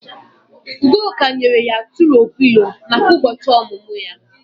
Udoka nyere ya tùro Pịlo maka ụbọchị ọmụmụ ya